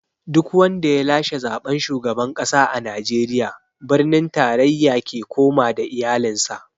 Duk wanda ya lashe zaɓen shugaban ƙasa a Najeriya, birnin tarayya ze koma da iyalin sa